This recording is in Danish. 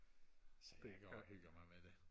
så jeg går og hygger mig med det